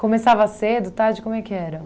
Começava cedo, tarde, como é que era?